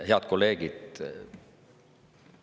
Head kolleegid!